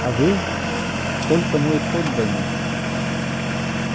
а вы только мой подданный